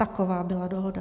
Taková byla dohoda.